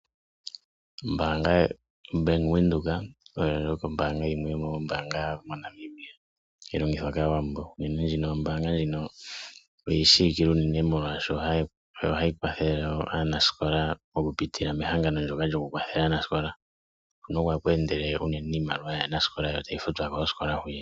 Ombaanga ya Bank Windhoek oyo ndjoka ombaanga yimwe yomoombaanga dhomoNamibia hayi longithwa kaantu, uunene ombaanga ndjino oyi shiwikwe uunene molwaashoka ohayi kwathele wo aanasikola okupitila mehangano ndyoka lyoku kwathela aanasikola, huno oko haku endele iimaliwa yaanasikola yo tayi futwa koosikola.